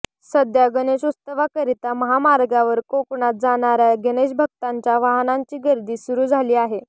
सध्या गणेशोत्सवाकरिता महामार्गावर कोकणात जाणार्या गणेशभक्तांच्या वाहनांची गर्दी सुरू झाली आहे